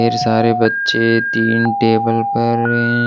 ढेर सारे बच्चे तीन टेबल पर--